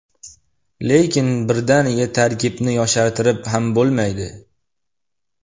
Lekin birdaniga tarkibni yoshartirib ham bo‘lmaydi.